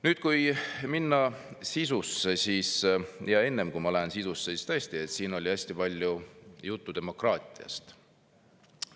Nüüd, enne kui ma lähen sisusse, siis tõesti, siin oli hästi palju juttu demokraatiast.